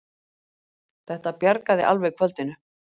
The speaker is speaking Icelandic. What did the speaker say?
Þetta bjargaði alveg kvöldinu!